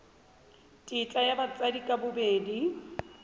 tetla ya batsadi ka bobedi